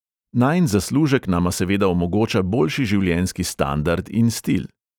Najin zaslužek nama seveda omogoča boljši življenjski standard in stil.